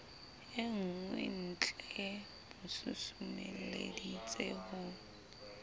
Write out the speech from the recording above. e nngweentlee mo susumeleditse ho